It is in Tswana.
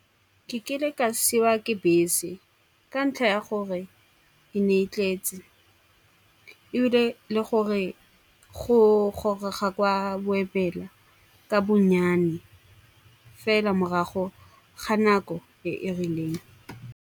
Ke kile ka siwa ke bese ka ntlha ya gore e ne e tletse. Ebile le gore go gorega gwa boelwa ka bonnyane, fela morago ga nako e e rileng.